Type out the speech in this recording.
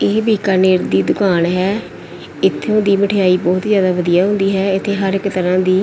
ਇਹ ਬੀਕਾਨੇਰ ਦੀ ਦੁਕਾਨ ਹੈ ਇਥੋਂ ਦੀ ਮਠਿਆਈ ਬਹੁਤ ਜਿਆਦਾ ਵਧੀਆ ਹੁੰਦੀ ਹੈ ਤੇ ਹਰ ਇੱਕ ਤਰ੍ਹਾਂ ਦੀ --